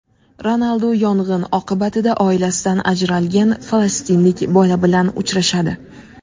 Ronaldu yong‘in oqibatida oilasidan ajralgan falastinlik bola bilan uchrashadi.